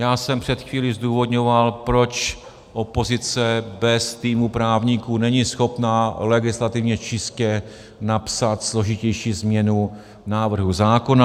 Já jsem před chvílí zdůvodňoval, proč opozice bez týmu právníků není schopna legislativně čistě napsat složitější změnu návrhu zákona.